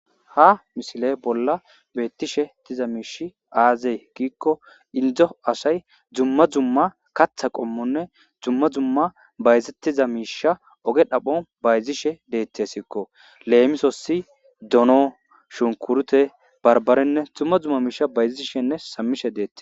Ha misile bolla betishe diza miishy aze giiko Indo asay dumma dumma katha qomonne dumma dumma bayzetiza miisha oge dhaphon bayziahw detesiko, lemosis donon, shunkuret , barbarenne dumma dumma miisha bayziashenne shamishe detes